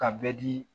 Ka bɛɛ di